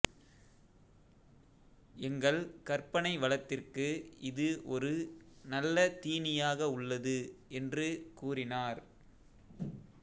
எங்கள் கற்பனை வளத்திற்கு இது ஒரு நல்ல தீனியாக உள்ளது என்று கூறினார்